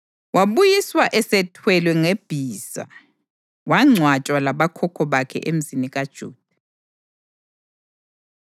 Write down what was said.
Wabuyiswa esethwelwe ngebhiza wangcwatshwa labokhokho bakhe eMzini kaJuda.